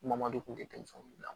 Mamadu kun tɛ denmisɛnnin